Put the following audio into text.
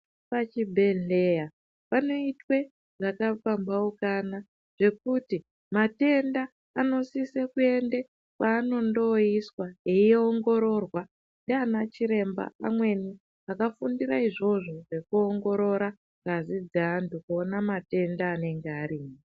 Pachibhedhleya panoitwe zvakapambaukana zvekuti matenda anosise kuende kwanondoiswa eiongororwa ndianachiremba amweni akafundire izvozvo zvekuongorora ngazi dzeantu kuona matenda anenge arimwo.